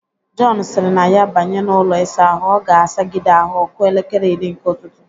Jọn sịrị na ya banye n'ụlọ ịsa ahụ, ọ ga-asagide ahụ ọ kụọ elekele iri nke ụtụtụ.